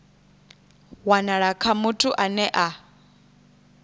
wanala kha muthu ane a